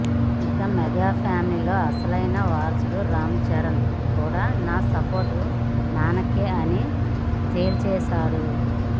ఇక mega family లో అసలైన వారసుడు రామ్ చరణ్ కూడా నా సపోర్ట్ నాన్నకే అని తేల్చేశాడు